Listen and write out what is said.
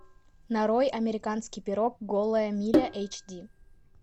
нарой американский пирог голая миля эйч ди